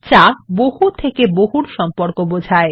যা বহু থেকে বহুর সম্পর্ক বোঝায়